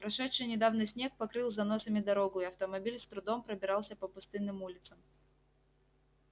прошедший недавно снег покрыл заносами дорогу и автомобиль с трудом пробирался по пустынным улицам